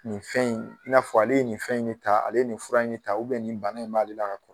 Nin fɛn in i n'a fɔ ale ye nin fɛn in de ta ale nin fura in de ta nin bana in b'ale la ka kɔr